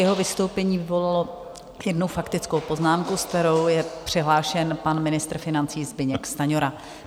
Jeho vystoupení vyvolalo jednu faktickou poznámku, se kterou je přihlášen pan ministr financí Zbyněk Stanjura.